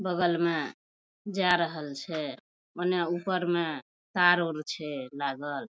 बगल में जा रहल छै उने ऊपर में तार-उर छै लागल ।